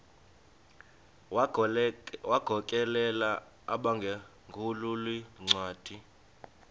wagokelela abaphengululi zincwadi